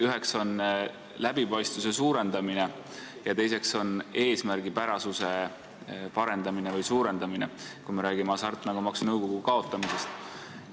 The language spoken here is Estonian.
Üks on läbipaistvuse suurendamine ja teine suurem eesmärgipärasus, kui me räägime Hasartmängumaksu Nõukogu kaotamisest.